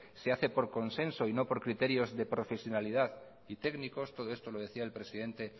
se hace por consenso y no por criterios de profesionalidad y técnicos todo esto lo decía el presidente